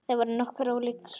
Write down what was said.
Þeir voru nokkuð ólíkir.